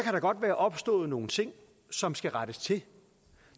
der godt være opstået nogle ting som skal rettes til